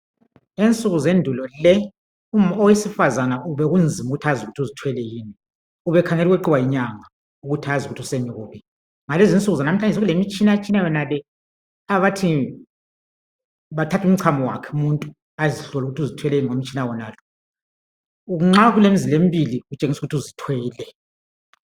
Ngensuku zendulo le, owesifazana bekunzima ukuthi azi ukuthi uzithwele yini. Ubekhangela ukweqiwa yinyanga, ukuthi azi ukuthi usemi kubi. Ngalezi insuku zalamhlanje sekulemitshinatshina yonale abathi bathathe umchamo wakhe umuntu azihlole ukuthi uzithwele yini ngomtshina wonalo. Nxa kukemzila embili, kutshengisa ukuthi uzithwele.